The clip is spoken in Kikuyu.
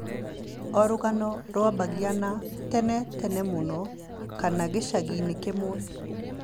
O rũgano rũambĩrĩriaga na "tene tene mũno" kana "gĩcagi-inĩ kĩmwe."